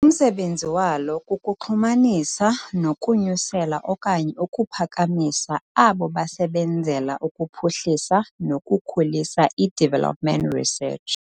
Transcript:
Umsebenzi walo kukuxhumanisa nokunyusela okanye ukuphakamisa abo basebenzela ukuphuhlisa nokukhulisa i-development research.